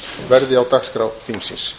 verði á dagskrá þingsins